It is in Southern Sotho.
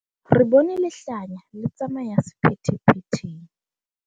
re bone lehlanya le tsamaya sephethephetheng